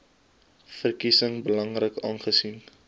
verkiesing belangrik aangesien